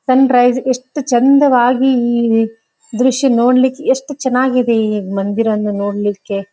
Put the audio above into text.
ಸನ್ rice ಎಷ್ಟು ಚಂದವಾಗಿ ಈ ದೃಶ್ಯ ನೋಡ್ಲಿಕ್ಕೆ ಎಷ್ಟು ಚನಾಗಿದೆ ಈ ಮಂದಿರವನ್ನು ನೋಡ್ಲಿಕ್ಕೆ.